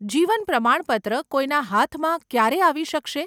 જીવન પ્રમાણપત્ર કોઈના હાથમાં ક્યારે આવી શકશે?